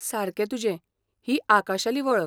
सारकें तुजें, ही आकाशाली वळख.